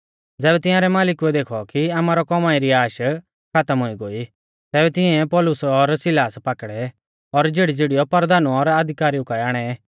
ज़ैबै तियांरै मालिकुऐ देखौ कि आमारौ कौमाई री आश खातम हुई गोई तैबै तिंउऐ पौलुस और सिलास पाकड़ै और झ़ीड़ीझ़ीड़ीयौ परधानु और अधिकारिऊ काऐ आणै